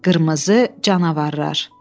Qırmızı canavarlar.